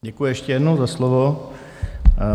Děkuji ještě jednou za slovo.